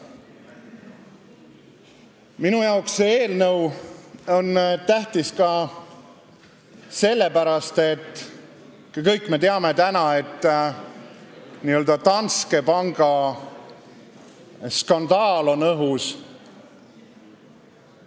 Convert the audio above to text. Minu jaoks on see eelnõu tähtis ka sellepärast, et kõik me teame, et n-ö Danske panga skandaal on õhus.